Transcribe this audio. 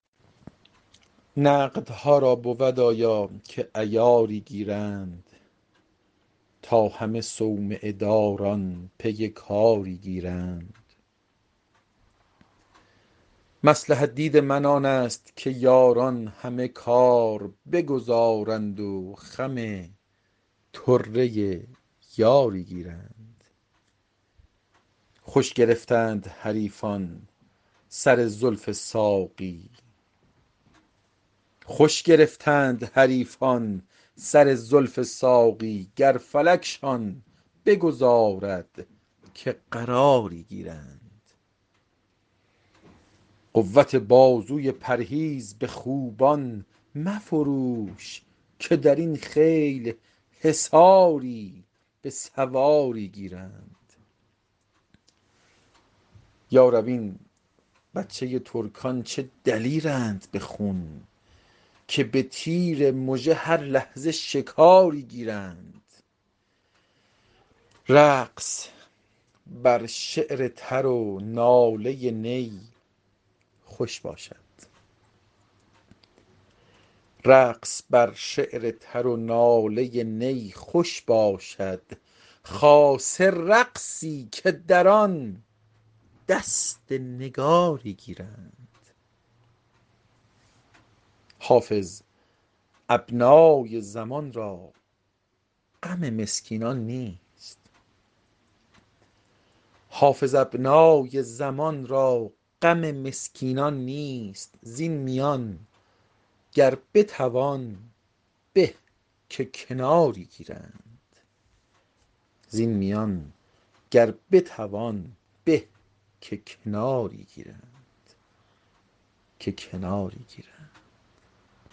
نقدها را بود آیا که عیاری گیرند تا همه صومعه داران پی کاری گیرند مصلحت دید من آن است که یاران همه کار بگذارند و خم طره یاری گیرند خوش گرفتند حریفان سر زلف ساقی گر فلکشان بگذارد که قراری گیرند قوت بازوی پرهیز به خوبان مفروش که در این خیل حصاری به سواری گیرند یا رب این بچه ترکان چه دلیرند به خون که به تیر مژه هر لحظه شکاری گیرند رقص بر شعر تر و ناله نی خوش باشد خاصه رقصی که در آن دست نگاری گیرند حافظ ابنای زمان را غم مسکینان نیست زین میان گر بتوان به که کناری گیرند